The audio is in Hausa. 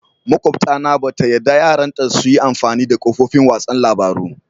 Makwabta na ba ta yadda yaran ta su yi amfani da kafofin wasan labaru.